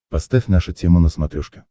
поставь наша тема на смотрешке